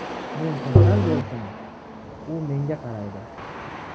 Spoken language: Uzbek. Men kasal bo‘lsam, u menga qaraydi.